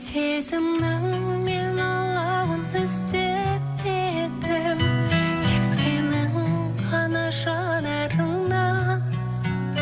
сезімнің мен алауыңды сеппедім тек сенің ғана жанарыңнан